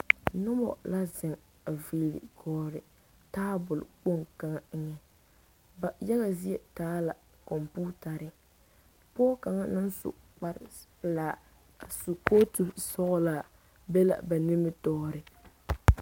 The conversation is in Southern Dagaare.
Noba la zeŋ a villeŋ gɔlle tabol kpoŋ kaŋa eŋɛ ba yaga zie taa la kɔmpiitare pɔge kaŋa naŋ su kparepelaa a su kootu sɔglaa be la ba nimitɔɔre.